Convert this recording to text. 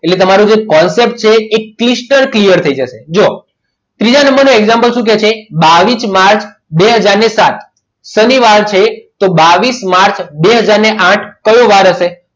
એટલે તમારો જે concept છે એ stal clear થઈ જાય જોવો ત્રીજા નંબરનું example શું કહે છે બાવીસ માર્ચ બે હાજર ને સાત શનિવાર છે તો બે બાવીસ માર્ચ બે હાજર ને આઠ કયો વાર હશે?